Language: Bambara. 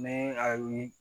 Ni a ye